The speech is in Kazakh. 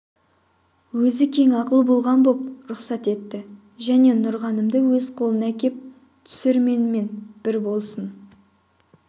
өзі кең ақыл болған боп рұқсат етті және нұрғанымды өз қолыма әкеп түсір менімен бір болсын